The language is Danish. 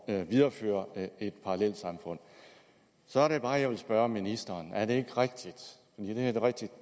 at videreføre et parallelsamfund så er det bare jeg vil spørge ministeren er det ikke rigtigt